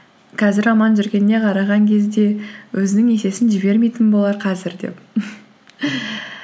қазір аман жүргеніне қараған кезде өзінің есесін жібермейтін болар қазір деп